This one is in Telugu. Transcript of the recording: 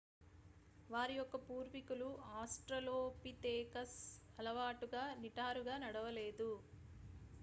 వారి యొక్క పూర్వికులు ఆస్ట్రలోపితేకస్ అలవాటుగా నిటారుగా నడవలేదు